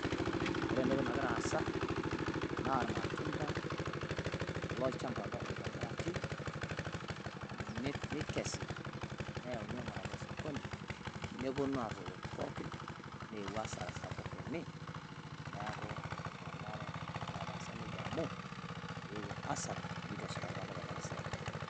Ore entoki nagira aasa naa ilmatunda lojchamba apa oitobiraki nikesi neyauni aing`uraki osokoni nepuonu aaruoyo pookin. Neewuo hasara sapuk ene niaku mmenare netaasa nejia amu eewuo hasara neitu eshipakino olopeny ena siai.